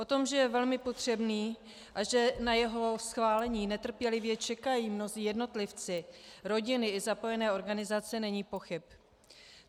O tom, že je velmi potřebný a že na jeho schválení netrpělivě čekají mnozí jednotlivci, rodiny i zapojené organizace, není pochyb.